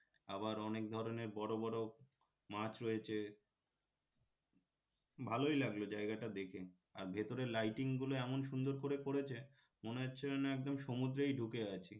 আবার অনেক ধরনের বড় বড় মাছ রয়েছে ভালোই লাগলো জায়গাটা দেখে আর ভেতরে lighting গুলো এমন সুন্দর করে করেছে মনে হচ্ছে যেন একদম সমুদ্রেই ঢুকে আছি